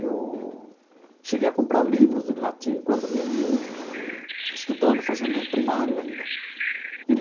Eu cheguei a comprar livros de latim quando menino, estudando, fazendo primário ainda.